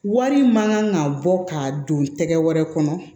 Wari min kan ka bɔ k'a don tɛgɛ wɛrɛ kɔnɔ